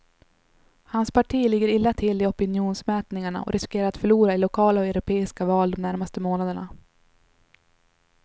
Hans parti ligger illa till i opinionsmätningarna och riskerar att förlora i lokala och europeiska val de närmaste månaderna.